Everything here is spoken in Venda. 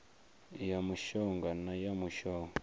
ya mushonga na ya mushonga